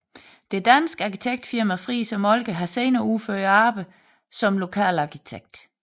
Det danske arkitektfirma Friis og Moltke har senere udført arbejdet som lokal arkitekt